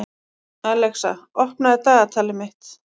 Alexa, opnaðu dagatalið mitt.